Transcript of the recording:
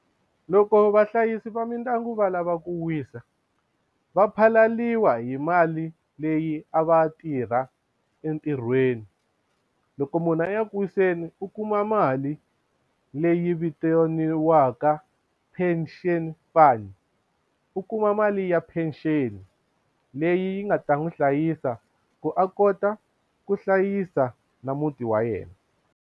Loko vahlayisi va mindyangu va lava ku wisa va phalaliwa hi mali leyi a va tirha entirhweni loko munhu a ya ku wiseni u kuma mali leyi vitaniwaka pension fund u kuma mali ya pension leyi nga ta n'wi hlayisa ku a kota ku hlayisa na muti wa yena.